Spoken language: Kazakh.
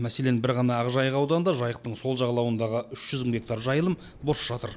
мәселен бір ғана ақжайық ауданында жайықтың сол жағалауындағы үш жүз мың гектар жайылым бос жатыр